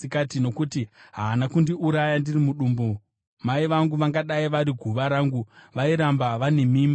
Nokuti haana kundiuraya ndiri mudumbu, mai vangu vangadai vari guva rangu, vairamba vane mimba.